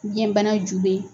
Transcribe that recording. Biyɛnbana ju bɛ